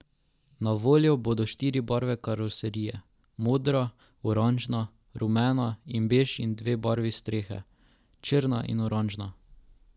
Na voljo bodo štiri barve karoserije, modra, oranžna, rumena in bež in dve barvi strehe, črna in oranžna.